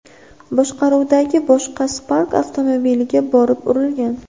boshqaruvidagi boshqa Spark avtomobiliga borib urilgan.